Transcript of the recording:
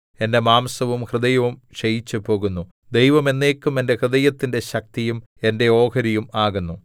എന്റെ മാംസവും ഹൃദയവും ക്ഷയിച്ചുപോകുന്നു ദൈവം എന്നേക്കും എന്റെ ഹൃദയത്തിന്റെ ശക്തിയും എന്റെ ഓഹരിയും ആകുന്നു